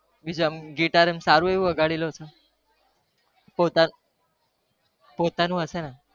બીજા માં હું ગીતાર એવું સારું એવું વગાડી લઉં છુ પોતાનું પોતાનું હસે ને